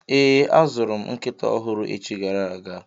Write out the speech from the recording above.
Ee, azụrụ m nkịta ọhụrụ echi gara aga.